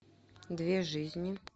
две жизни